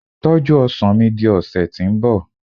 tọju ọsàn mi di ọsẹ ti nbọ